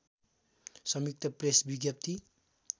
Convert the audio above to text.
संयुक्त प्रेस विज्ञप्ति